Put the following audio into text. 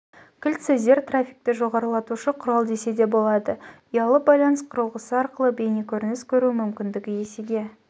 кілт сөздер трафикті жоғарылатушы құрал десе де болады ұялы байланыс құрылғысы арқылы бейнекөрініс көру мүмкіндігі есеге